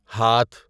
ہاتھ